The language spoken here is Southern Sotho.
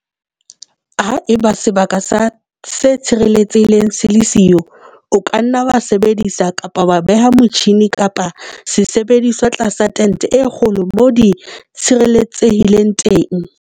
Ha eba sebaka se tshireletsehileng se le siyo, o ka nna wa sebedisa kapa wa beha motjhine kapa sesebediswa tlasa tente e kgolo moo di tshireletsehileng teng.